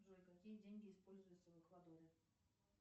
джой какие деньги используются в эквадоре